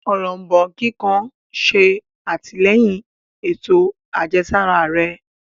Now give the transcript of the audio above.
Òrombó kíkan ṣe atilẹyin ètò àjẹsára rẹ